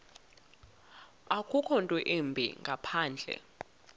akukho ntwimbi ngaphandle